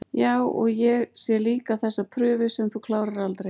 Já, og ég sé líka þessa prufu sem þú klárar aldrei